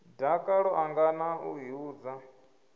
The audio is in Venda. dakalo ḽanga na u ḓihudza